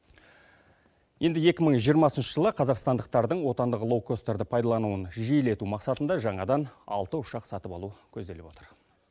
енді екі мың жиырмасыншы жылы қазақстандықтардың отандық лоукостерді пайдалануын жиілету мақсатында жаңадан алты ұшақ сатып алу көзделіп отыр